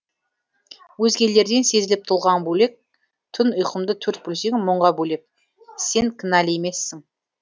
өзгелерден сезіліп тұлғаң бөлек түн ұйқымды төрт бөлсең мұңға бөлеп сен кінәлі емессің